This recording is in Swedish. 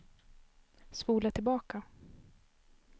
spola tillbaka